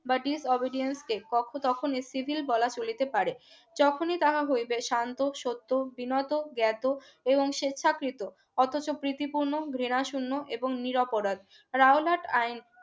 but his obedience stay কখো তখনি civil বলা চলিতে পারে যখনই তাহা হইবে শান্ত সত্য বিনত জ্ঞাত এবং স্বেচ্ছাকৃত অথচ প্রীতিপূর্ণ ঘৃনাশীর্ণ এবং নিরাপরাধ রাওলাট আইন